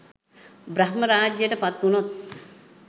බ්‍රහ්ම රාජ්‍යයට පත්වුණොත්